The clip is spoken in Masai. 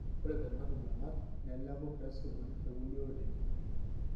Ore kuna kibung'at neleku peesipuni tekulie oreren.